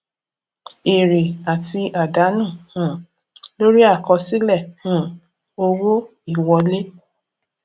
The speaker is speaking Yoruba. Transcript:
èrè àti àdánù um lórí àkọsílẹ um owó ìwọlé